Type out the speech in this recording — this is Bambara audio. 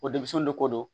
O denmisɛnw de ko don